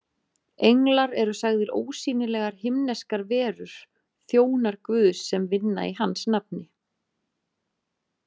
Englar eru sagðir ósýnilegar himneskar verur, þjónar Guðs sem vinna í hans nafni.